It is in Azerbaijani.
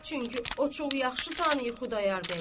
Çünki o çox yaxşı tanıyır Xudayar bəyi.